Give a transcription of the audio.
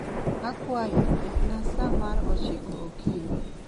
Akwayi, ketna sa mar ochiko okinyi